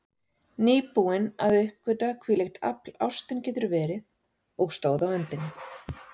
Nýbúin að uppgötva hvílíkt afl ástin getur verið, og stóð á öndinni.